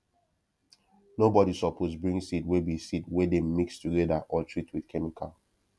nobody suppose bring seed wey be seed wey dem mix together or treat with chemical